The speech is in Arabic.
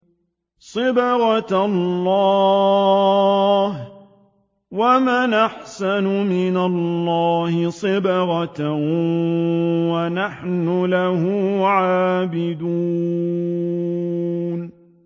صِبْغَةَ اللَّهِ ۖ وَمَنْ أَحْسَنُ مِنَ اللَّهِ صِبْغَةً ۖ وَنَحْنُ لَهُ عَابِدُونَ